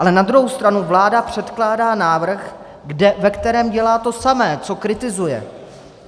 Ale na druhou stranu vláda předkládá návrh, ve kterém dělá to samé, co kritizuje.